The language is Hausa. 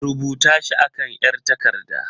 Rubuta shi a kan 'yar takarda.